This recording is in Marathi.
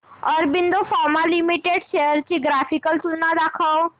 ऑरबिंदो फार्मा लिमिटेड शेअर्स ची ग्राफिकल तुलना दाखव